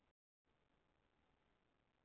Þess vegna munu þau haldast.